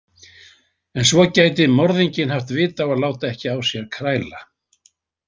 En svo gæti morðinginn haft vit á að láta ekki á sér kræla.